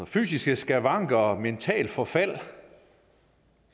fysiske skavanker og mentalt forfald